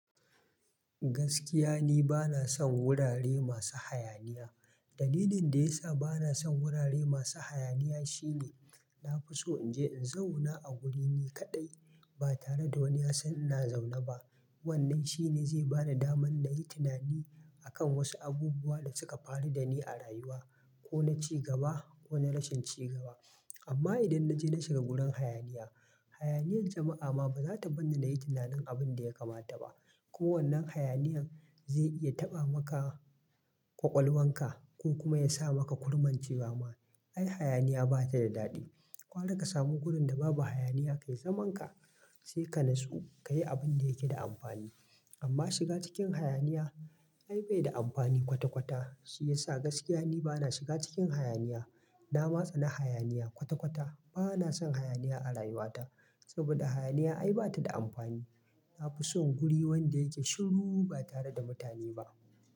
Gaskiya ni bana son wurare masu hayaniya. Dalilin da ya sa bana son wurare masu hayaniya shine na fi so in je in zauna a wuri ni kaɗai ba tare da wani ya san ina zaune ba. Wannan shine zai ba da daman na yi tunani akan wasu abubuwa da suka faru da ni a rayuwa, ko na ci gaba ko na rashin cigaba. Amma idan na je na shiga wurin hayaniya, hayaniyar jama'a ma ba za ta bar ni na yi tunanin abin da ya kamata ba. Ko wannan hayaniyar zai iya taɓa maka ƙwaƙwalwanka ko kuma ya sa maka kurmance wama. Ai hayaniya ba ta da daɗi. Gwara ka samu wurin da babu hayaniya ka yi zaman ka, sai ka natsu ka yi abin da yake da amfani. Amma shiga cikin hayaniya ai bai da amfani kwata kwata. Shi ya sa gaskiya ni bana shiga cikin hayaniya. Na ma tsana hayaniya kwata kwata. Bana son hayaniya a rayuwata saboda hayaniya ai ba ta da amfani. Na fi son guri wanda yake shiru ba tare da mutane ba.